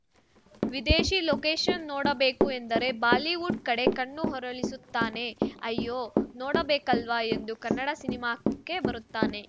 ವಿದೇಶಿ ಲೊಕೇಷನ್‌ ನೋಡಬೇಕು ಎಂದರೆ ಬಾಲಿವುಡ್‌ ಕಡೆ ಕಣ್ಣು ಹೊರಳಿಸುತ್ತಾನೆ ಅಯ್ಯೋ ನೋಡಬೇಕಲ್ವಾ ಎಂದು ಕನ್ನಡ ಸಿನಿಮಾಕ್ಕೆ ಬರುತ್ತಾನೆ